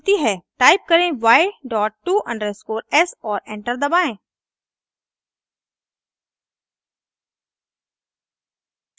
type करें y dot to_s और enter दबाएं